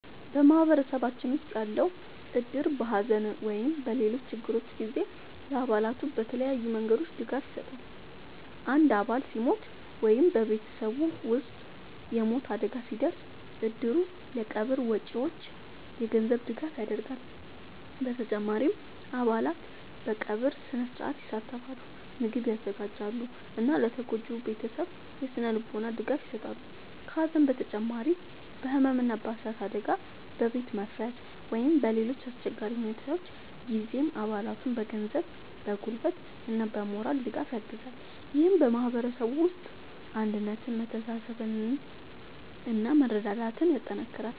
በማህበረሰባችን ውስጥ ያለው እድር በሐዘን ወይም በሌሎች ችግሮች ጊዜ ለአባላቱ በተለያዩ መንገዶች ድጋፍ ይሰጣል። አንድ አባል ሲሞት ወይም በቤተሰቡ ውስጥ የሞት አደጋ ሲደርስ፣ እድሩ ለቀብር ወጪዎች የገንዘብ ድጋፍ ያደርጋል። በተጨማሪም አባላት በቀብር ሥነ-ሥርዓት ይሳተፋሉ፣ ምግብ ያዘጋጃሉ እና ለተጎጂው ቤተሰብ የሥነ-ልቦና ድጋፍ ይሰጣሉ። ከሐዘን በተጨማሪ በሕመም፣ በእሳት አደጋ፣ በቤት መፍረስ ወይም በሌሎች አስቸጋሪ ሁኔታዎች ጊዜም አባላቱን በገንዘብ፣ በጉልበት እና በሞራል ድጋፍ ያግዛል። ይህም በማህበረሰቡ ውስጥ አንድነትን፣ መተሳሰብን እና መረዳዳትን ያጠናክራል።